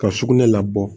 Ka sugunɛ labɔ